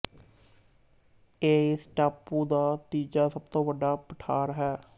ਇਹ ਇਸ ਟਾਪੂ ਦਾ ਤੀਜਾ ਸਭ ਤੋਂ ਵੱਡਾ ਪਠਾਰ ਹੈ